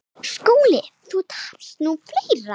SKÚLI: Þá tapast nú fleira.